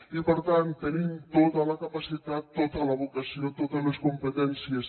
i per tant tenim tota la capacitat tota la vocació totes les competències